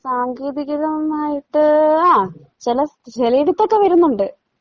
സാങ്കേതികതമായിട്ട് ആ ചെലസ് ചെലയിടത്തൊക്കെ വരുന്നൊണ്ട്.